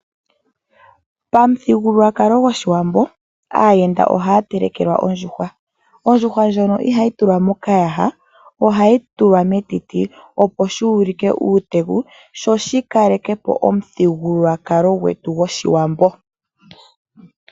Pamuthigululwakalo gOshiwambo , aayenda ohaya telekelwa ondjuhwa. Ondjuhwa ihayi hukulilwa mokayaha ashike ohayi hukulilwa metiti , opo shi ulike uuteku sho shi kaleke po omuthigululwakalo gwetu gwOshiwambo.